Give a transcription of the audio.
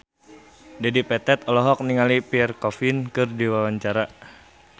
Dedi Petet olohok ningali Pierre Coffin keur diwawancara